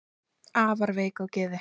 afar veik á geði